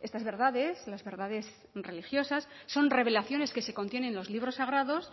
estas verdades las verdades religiosas son revelaciones que se contiene en los libros sagrados